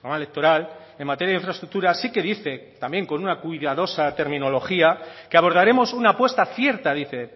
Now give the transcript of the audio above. electoral en materia de infraestructura sí que dice también con una cuidadosa terminología que abordaremos una apuesta cierta dice